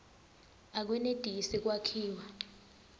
akwenetisi kwakhiwa